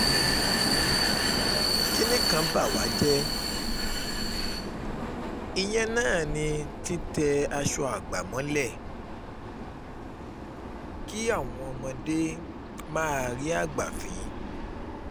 kínní kan bá wá jẹ́ ìyẹn náà ni títẹ aṣọ àgbà mọ́lẹ̀ kí kí àwọn ọmọdé máárì àgbà fín